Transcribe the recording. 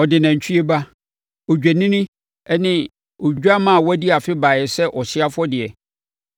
Ɔde nantwie ba, odwennini ne odwammaa a wadi afe baeɛ sɛ ɔhyeɛ afɔdeɛ,